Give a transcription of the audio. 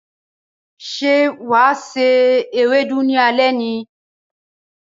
Ṣé wà á se Ewédú ní alé ni?